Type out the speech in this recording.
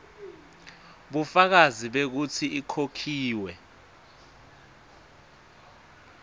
bufakazi bekutsi ikhokhiwe